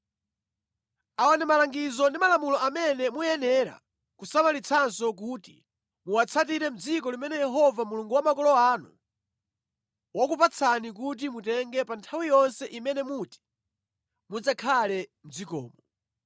Awa ndi malangizo ndi malamulo amene muyenera kusamalitsanso kuti muwatsatire mʼdziko limene Yehova Mulungu wa makolo anu wakupatsani kuti mutenge pa nthawi yonse imene muti mudzakhale mʼdzikomo.